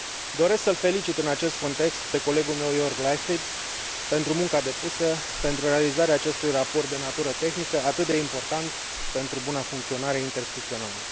Doresc să îl felicit în acest context pe colegul meu, Jörg Leichtfried, pentru munca depusă pentru realizarea acestui raport de natură tehnică, atât de important pentru buna funcționare interinstituțională.